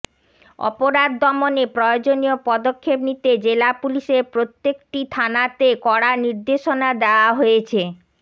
অপরাধ দমনে প্রয়োজনীয় পদক্ষেপ নিতে জেলা পুলিশের প্রত্যেকটি থানাতে কড়া নির্দেশনা দেয়া হয়েছে